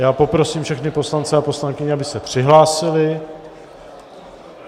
Já poprosím všechny poslance a poslankyně, aby se přihlásili.